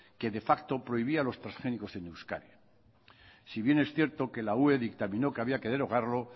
que de facto prohibía los transgénicos en euskadi si bien es cierto que la ue dictaminó que había que derogarlo